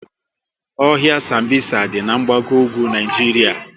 Ohia Sambisa dị n'gbago ugwu Naijiria